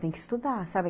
Tem que estudar, sabe?